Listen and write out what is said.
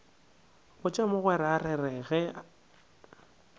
botša mogwera re re ge